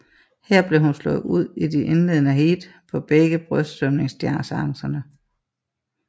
Her blev hun slået ud i de indledende heat på begge brystsvømningsdistancerne